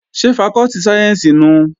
Ṣé fakọ́tì sáyẹ́ǹsì nùu?